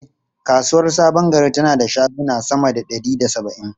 E, kasuwar Sabon Gari tana da shaguna sama da ɗari da saba’in.